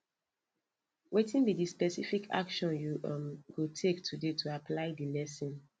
wetin be di specific action you um go take today to apply di lesson